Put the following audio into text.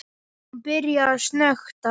Hún byrjar að snökta.